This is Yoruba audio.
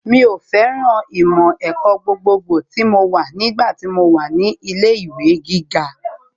Mi ò fẹ́ràn ìmọ̀ ẹ̀kọ́ gbogbogbò tí mo wà nígbà tí mo wà ní ilé ìwé gíga